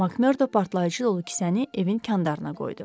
MacMordo partlayıcı dolu kisəni evin kəndarına qoydu.